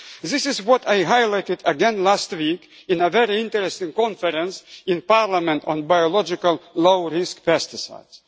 techniques. This is what I highlighted again last week in a very interesting conference in Parliament on biological low-risk